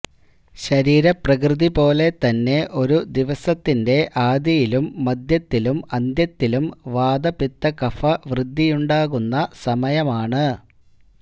ശരീരപ്രകൃതി പോലെതന്നെ ഒരു ദിവസത്തിന്റെ ആദിയിലും മധ്യത്തിലും അന്ത്യത്തിലും വാതപിത്തകഫ വൃദ്ധിയുണ്ടാകുന്ന സമയമാണ്